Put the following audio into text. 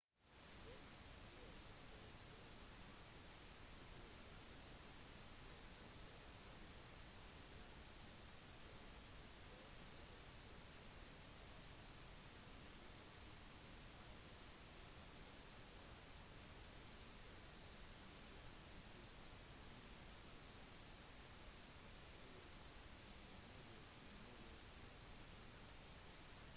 derimot vil forbrukermarkedet på bærbare pc-er være radikalt variert og forandret etter at asus ble tildelt taiwan sustainable award av administrerende yuan i kina 2007